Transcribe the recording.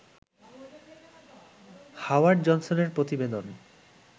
Howard জনসনের প্রতিবেদন